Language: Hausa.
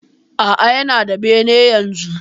Aa, Yana da bene yanzu.